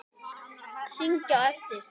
Hringi á eftir